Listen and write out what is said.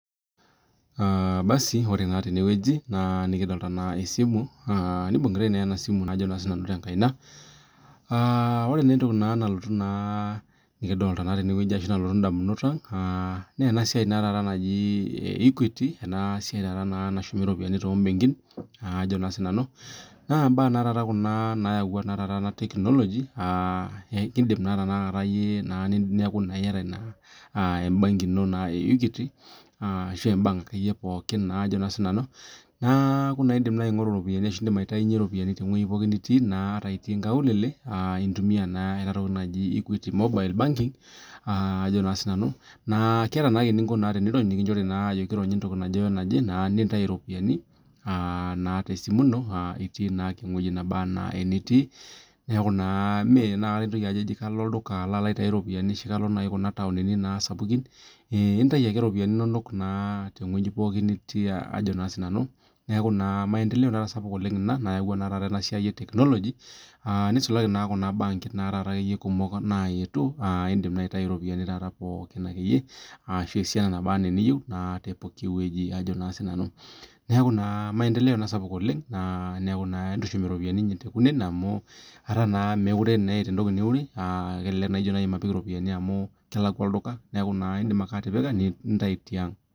basi ore naa tenewueji nikidoolta naa esimu naa ore entoki nalotu indamunot ang naa ena siai naa e equity ena siai naa naishoori iropiyiani too mbenkin nayawua naa ena technology indim tenakata neeku iyata iye embenki ino naa indim naa aitaasa pooki ata ninye itii inkaulele aa taa indim aitumia equity mobile aataa indim aironya ewueji nikijokini nirony nintayu naa ake iropiani itii naa ake ewueji nitii ata ninye itii kuna taonini sapukin neeku naa esiai sidai naa ena nayawua naa ena technology nisulaki naa tekuna bankin naayetuo aa taa indim aitayu iropiani naabanaa iniyiou , neeku naa maendeleo ena sapuk ooleng amuu meekure naa eeta entoki niure amuu indim ake atipika nintayu tiang